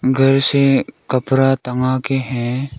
घर से कपड़ा टांगा के है।